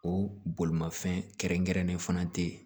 O bolimafɛn kɛrɛnkɛrɛnnen fana tɛ yen